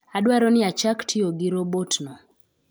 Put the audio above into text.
Adwaro ni achak tiyo gi robotno.